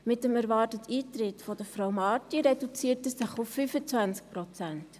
Mit dem erwarteten Eintritt von Frau Marti reduziert er sich auf 25 Prozent.